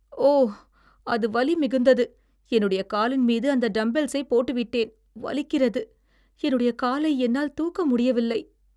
ஓ! அது வலிமிகுந்தது. என்னுடைய காலின்மீது அந்த டம்பெல்ஸைப் போட்டு விட்டேன். வலிக்கிறது. என்னுடைய காலை என்னால் தூக்க முடியவில்லை.